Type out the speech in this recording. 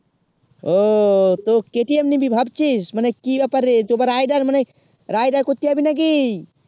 ওহ তো KTM নিবি ভাবছিস মানে কি ব্যাপার রে তোমার riderride আ করতে জাবি না কি